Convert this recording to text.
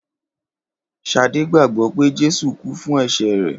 Ṣadé gbàgbọ́ pè Jésù kú fún ẹ̀ṣẹ̀ rẹ̀.